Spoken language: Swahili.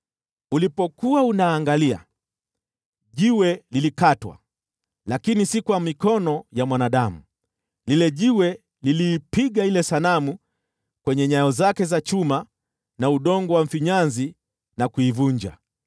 Ulipokuwa unaangalia, jiwe lilikatwa, lakini si kwa mikono ya mwanadamu. Lile jiwe liliipiga ile sanamu kwenye nyayo zake za chuma na udongo wa mfinyanzi, na kuivunja.